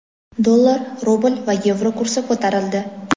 Dollar, rubl va yevro kursi ko‘tarildi.